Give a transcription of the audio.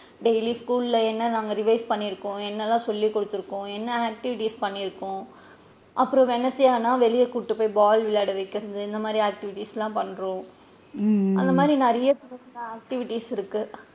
Daily school ல என்ன நாங்க revise பண்ணி இருக்கோம், எண்ணலா சொல்லி குடுத்து இருக்கோம், என்ன activities பண்ணி இருக்கோம் அப்பறம் wednesday ஆனா வெளில கூட்டிட்டு போய் ball விளையாட வைக்கிறது இந்த மாதிரி activities லா பண்றோம் அந்த மாறி நிறைய சின்ன சின்ன activities இருக்கு.